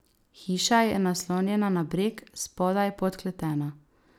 Hiša je naslonjena na breg, spodaj podkletena.